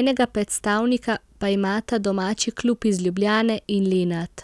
enega predstavnika pa imata domači klub iz Ljubljane in Lenart.